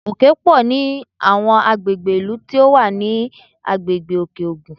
Òkè pọ̀ ní àwọn ilú tí ó wà ní agbègbè Òkè-Ògùn